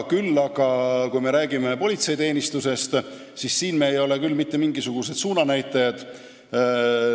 Küll aga, kui me räägime politseiteenistusest, siis siin ei ole me mitte mingisugused suunanäitajad.